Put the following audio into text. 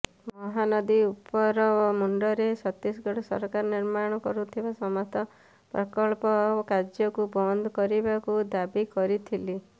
ମହାନଦୀ ଉପର ମୁଣ୍ଡରେ ଛତିଶଗଡ଼ ସରକାର ନିର୍ମାଣ କରୁଥିବା ସମସ୍ତ ପ୍ରକଳ୍ପ କାର୍ଯ୍ୟକୁ ବନ୍ଦ କରିବାକୁ ଦାବି କରିଥିଲି